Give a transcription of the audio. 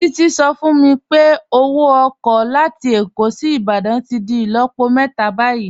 Títí sọ fún mí pé ọwọ oko latí Ékó sí Ìbàdàn tí dì ilọ̀pọ̀ mẹta bayí.i